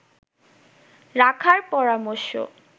রাখার পরামর্শ